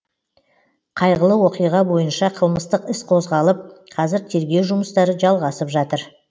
қайғылы оқиға бойынша қылмыстық іс қозғалып қазір тергеу жұмыстары жалғасып жатыр